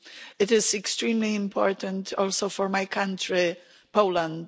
It is extremely important also for my country, Poland.